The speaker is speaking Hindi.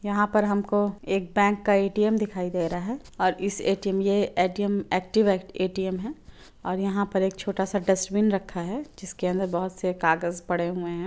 यहा पर हमको एक बैंक का ए_टी_एम दिखाई दे रहा है और इस ए_टी_एम ये ए_टी_एम ऐक्टिव ए_टी_एम है और यहा पर एक छोटा सा डस्ट्बिन रखा है जिसके अंदर बहोत से कागच पड़े हुए है।